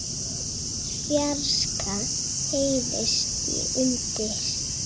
fjarska heyrist í hundi.